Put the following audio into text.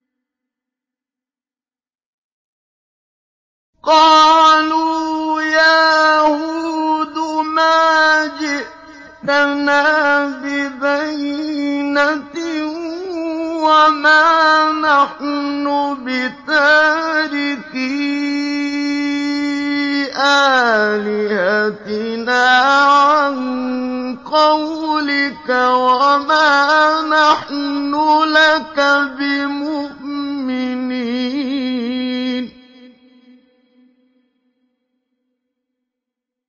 قَالُوا يَا هُودُ مَا جِئْتَنَا بِبَيِّنَةٍ وَمَا نَحْنُ بِتَارِكِي آلِهَتِنَا عَن قَوْلِكَ وَمَا نَحْنُ لَكَ بِمُؤْمِنِينَ